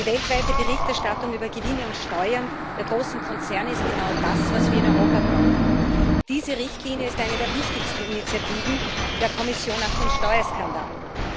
Die weltweite Berichterstattung über Gewinne und Steuern der großen Konzerne ist genau das, was wir in Europa brauchen. Diese Richtlinie ist eine der wichtigsten Initiativen der Kommission nach den Steuerskandalen.